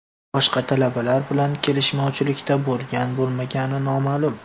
Boshqa talabalar bilan kelishmovchilikda bo‘lgan-bo‘lmagani noma’lum.